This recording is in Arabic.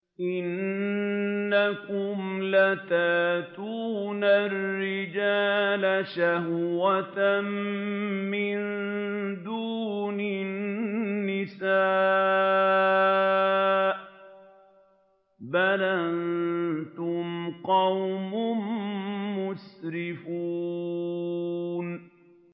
إِنَّكُمْ لَتَأْتُونَ الرِّجَالَ شَهْوَةً مِّن دُونِ النِّسَاءِ ۚ بَلْ أَنتُمْ قَوْمٌ مُّسْرِفُونَ